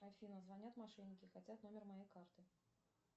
афина звонят мошенники хотят номер моей карты